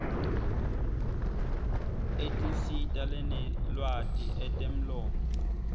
etinsita lanelwati etemlomo